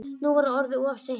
Nú var það orðið of seint.